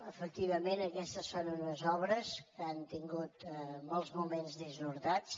efectivament aquestes són unes obres que han tingut molts moments dissortats